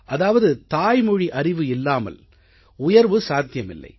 அதாவது தாய்மொழி அறிவு இல்லாமல் உயர்வு சாத்தியமில்லை